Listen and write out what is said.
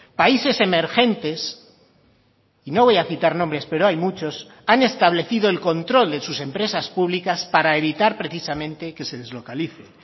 países emergentes y no voy a citar nombres pero hay muchos han establecido el control de sus empresas públicas para evitar precisamente que se deslocalice